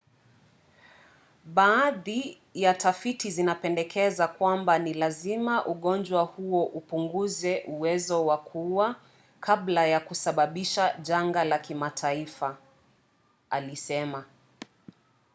baadhi ya tafiti zinapendekeza kwamba ni lazima ugonjwa huo upunguze uwezo wa kuua kabla ya kusababisha janga la kimataifa alisema